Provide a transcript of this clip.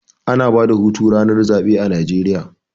Ana bada hutu ranar zaɓe a Najeriya